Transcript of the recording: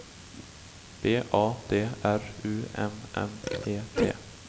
B A D R U M M E T